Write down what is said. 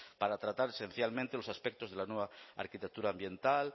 para tratar esencialmente los aspectos de la nueva arquitectura ambiental